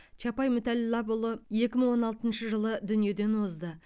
чапай мүтәллапұлы екі мың он алтыншы жылы дүниеден озды